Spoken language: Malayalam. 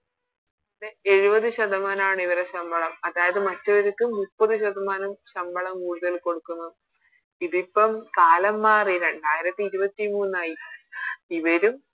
എഴുപത് ശതമാനാണ് ഇവരുടെ ശമ്പളം അതായത് മറ്റൊരിക്ക് മുപ്പത് ശതമാനം ശമ്പളം കൂടുതല് കൊടുക്കുന്നു ഇതിപ്പോ കാലം മാറി രണ്ടായിരത്തി ഇരുപത്തി മൂന്നായി ഇവരും